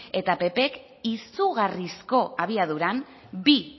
eta ppk izugarrizko abiaduran bi